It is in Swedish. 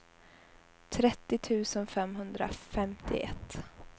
trettio tusen femhundrafemtioett